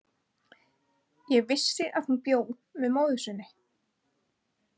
Ég vissi að hún bjó með móður sinni.